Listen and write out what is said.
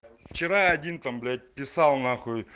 вчера один там блять писал нахуй